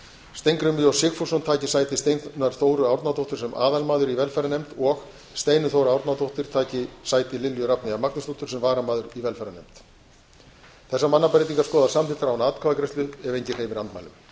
steingrímur j sigfússon taki sæti steinunnar þóru árnadóttur sem aðalmaður í velferðarnefnd og steinunn þóra árnadóttir taki sæti lilju rafneyjar magnúsdóttur sem varamaður í velferðarnefnd þessar mannabreytingar skoðast samþykktar án atkvæðagreiðslu ef enginn hreyfir andmælum